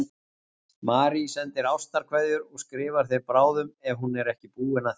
Marie sendir ástarkveðjur og skrifar þér bráðum ef hún er ekki búin að því.